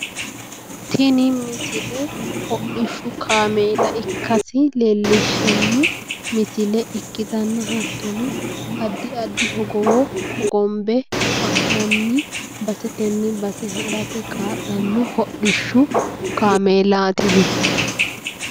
Tini misile hodhishshu kameela ikkasi leellishshanno misile ikkitanna, hattono, addi addi hogowo hogombe ha'nanni basetenni base harate kaa'lanno hodhishshu kameelaatino.